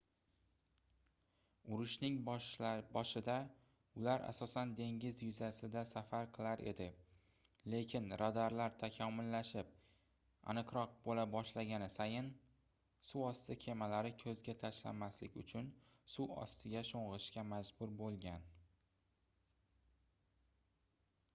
urushning boshida ular asosan dengiz yuzasida safar qilar edi lekin radarlar takomillashib aniqroq boʻla boshlagani sayin suvosti kemalari koʻzga tashlanmaslik uchun suv ostiga shongʻishga majbur boʻlgan